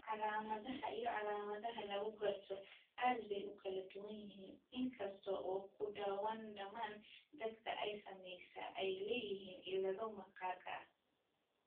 Calaamadaha iyo calaamadaha lagu garto aad bay u kala duwan yihiin, in kasta oo ku dhawaad ​​dhammaan dadka ay saamaysay ay leeyihiin cillado maqaarka ah.